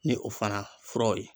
Ni o fana furaw ye.